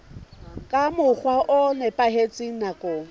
ka mokgwa o nepahetseng nakong